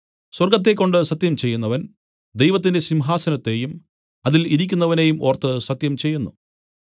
സ്വർഗ്ഗത്തെക്കൊണ്ട് സത്യം ചെയ്യുന്നവൻ ദൈവത്തിന്റെ സിംഹാസനത്തെയും അതിൽ ഇരിക്കുന്നവനെയും ഓർത്ത് സത്യം ചെയ്യുന്നു